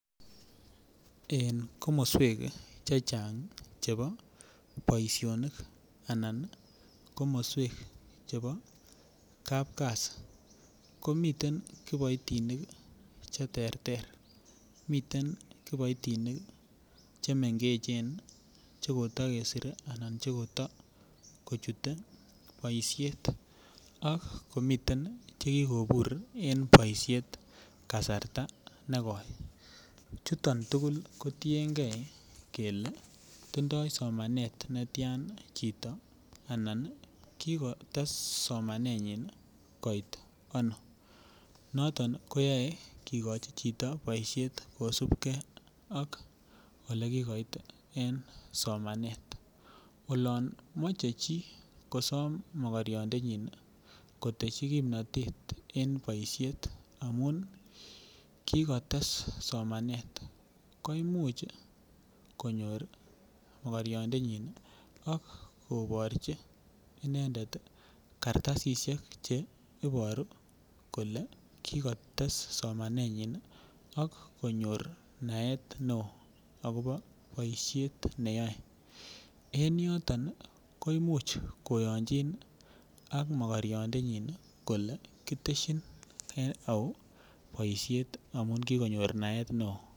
En komoswek chechang chebo boisionik anan komoswek chebo kapkazi komiten kiboitinik cheterter, miten kiboitinik chemengechen chekotokesire anan cheko tokochute boisiet ak komiten chekikobur en boisiet kasarta nekoi chuton tugul kotienge kele tindoi somanet netian chito anan kikotese somanenyin koit anoo noton koyoe kikochi chito boisiet kosupke ak olekikot en somanet olon moche chi mokoriondenyin koteshi kipnotet en boisiet amun kikotes somanet koimuch konyor mokoriandenyin akoborchi inendet kartasisiek che iburu kole kikotes inendet somanenyin ak konyor naet neo akopo boisiet neyoe en yoton ii koimuch koyonjin ak mokoriandenyin kole kiteshin en au boisiet amun kikonyor naet neo.